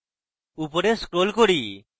উপরের scroll করি